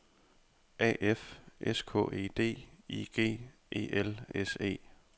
A F S K E D I G E L S E